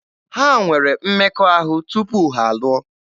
Ha nwere mmekọahụ tupu ha alụọ.